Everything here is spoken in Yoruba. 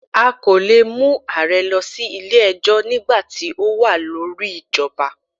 A kò leè mu ààrẹ lọ sí Ilé ẹjọ́ nígbàti o wa lórí ìjọba